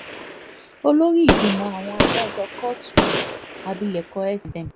olórí ìgbìmọ̀ àwọn adájọ́ kóòtù yìí abilékọ sm